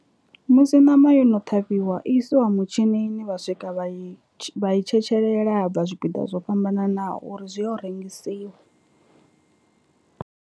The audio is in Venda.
Musi ṋama yo no ṱhavhiwa isiwa mutshinini vha swika vha i vha i tshetshelela ha bva zwipiḓa zwo fhambananaho uri zwi ye u rengisiwa.